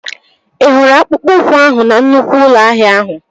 Ị hụrụ akpụkpọ ụkwụ ahụ na nnụkwụ ụlọ ahịa ahụ?